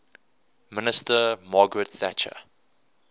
minister margaret thatcher